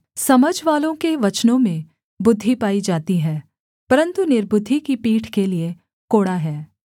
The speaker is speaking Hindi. समझवालों के वचनों में बुद्धि पाई जाती है परन्तु निर्बुद्धि की पीठ के लिये कोड़ा है